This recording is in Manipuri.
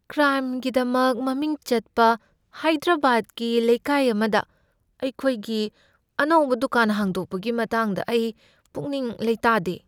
ꯀ꯭ꯔꯥꯏꯝꯒꯤꯗꯃꯛ ꯃꯃꯤꯡ ꯆꯠꯄ ꯍꯥꯏꯗ꯭ꯔꯕꯥꯗꯀꯤ ꯂꯩꯀꯥꯏ ꯑꯃꯗ ꯑꯩꯈꯣꯏꯒꯤ ꯑꯅꯧꯕ ꯗꯨꯀꯥꯟ ꯍꯥꯡꯗꯣꯛꯄꯒꯤ ꯃꯇꯥꯡꯗ ꯑꯩ ꯄꯨꯛꯅꯤꯡ ꯂꯩꯇꯥꯗꯦ꯫